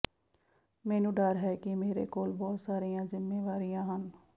ਮੈਨੂੰ ਡਰ ਹੈ ਕਿ ਮੇਰੇ ਕੋਲ ਬਹੁਤ ਸਾਰੀਆਂ ਜ਼ਿੰਮੇਵਾਰੀਆਂ ਹਨ